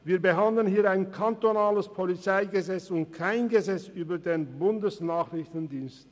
Wir behandeln hier das kantonale PolG und kein Gesetz über den Bundesnachrichtendienst.